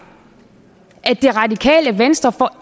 at det radikale venstre for